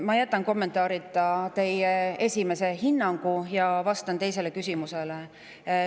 Ma jätan kommenteerimata teie hinnangu ja vastan küsimusele.